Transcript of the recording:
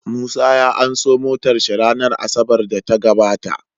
Musa ya anso motar shi ranar asabar da ta gabata